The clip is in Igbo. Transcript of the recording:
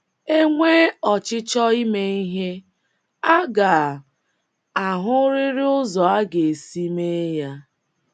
“ E nwee ọchịchọ ime ihe, a ga - ahụrịrị ụzọ a ga - esi mee ya.. ”